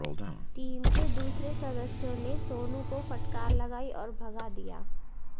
team के दूसरे सदस्यों ने सोनू को फटकार लगाई और भगा दिया